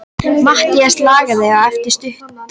Matthías lagði á eftir stutta þögn.